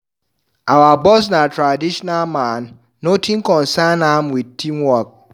Our boss na traditional man, nothing concern am wit team work.